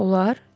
Olar?